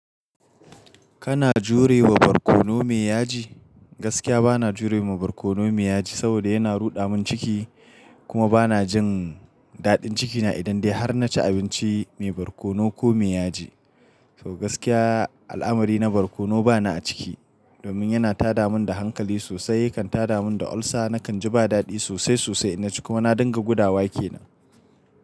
Kana jure wa barkono mai yaji? Gaskiya bana jure wa barkono mai yaji, saboda yana ruɗa mun ciki. Kuma bana jin daɗin cikina idan dai har na ci abinci mai barkono ko mai yaji. So gaskiya al'amari na barkono bani a ciki, domin yana tada mun da hankali sosai, ya kan tada mun da ulcer, nakan ji ba daɗi sosai sosai ina ciki kuma na dinga gudawa kenan.